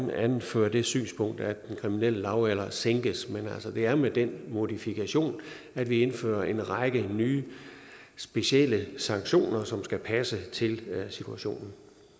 anføre det synspunkt at den kriminelle lavalder sænkes men altså det er med den modifikation at vi indfører en række nye specielle sanktioner som skal passe til situationen